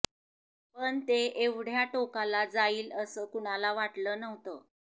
पण ते एवढ्या टोकाला जाईल असं कुणाला वाटलं नव्हतं